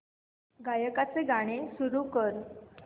गायकाचे गाणे सुरू कर